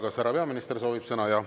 Kas härra peaminister soovib sõna?